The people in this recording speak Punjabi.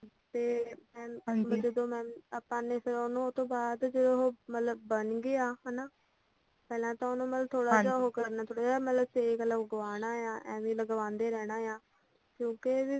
ਤੇ ਐ ਜਦੋਂ ਮ ਆਪਾਂ ਨੇ ਫ਼ਿਰ ਉਹਨੂੰ ਉਹਤੋਂ ਬਾਅਦ ਜੇ ਉਹੋ ਮਤਲੱਬ ਬਣ ਗਿਆ ਹਨਾਂ ਪਹਿਲਾਂ ਤਾਂ ਮਤਲੱਬ ਥੋੜਾ ਜਾ ਉਹ ਹੋ ਕਰਨਾ ਥੋੜਾ ਜਾ ਮਤਲੱਬ ਸੇਕ ਲਗਵਾਣਾ ਆ ਐਵੇਂ ਕਿਉਂਕਿ ਲੱਗਵਾਦੇ ਰਹਿਣਾ ਆ ਕਿਯੋਕੀ ਸਰੋ